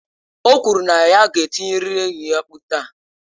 O kwuru na ya ga-etirịrị enyi ya mkpu taa.